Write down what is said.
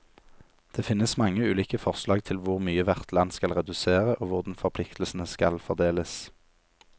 Det finnes mange ulike forslag til hvor mye hvert land skal redusere, og hvordan forpliktelsene skal fordeles.